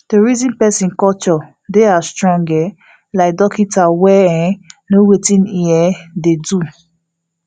to reason persin culture dey as strong um like dorkita wen um know wetin e um dey do